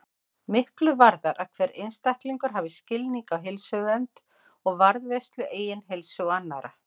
Miklu varðar að hver einstaklingur hafi skilning á heilsuvernd og varðveislu eigin heilsu og annarra.